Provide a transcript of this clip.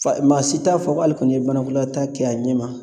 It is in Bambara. Fa maa si t'a fɔ k'ale kɔni ye banakɔlataa kɛ a ɲɛ ma